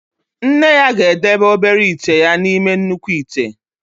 Nne ya ga-edebe obere ite ya n'ime nnukwu ite.